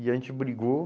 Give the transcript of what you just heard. E a gente brigou.